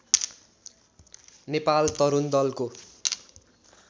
नेपाल तरुण दलको